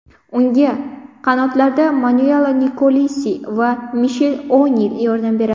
Unga qanotlarda Manuela Nikolosi va Mishel O‘Nil yordam beradi.